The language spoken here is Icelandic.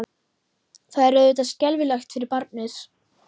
Það er auðvitað skelfilegt fyrir barnið.